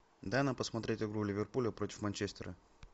дай нам посмотреть игру ливерпуля против манчестера